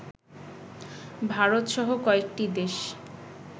ভারতসহ কয়েকটি দেশ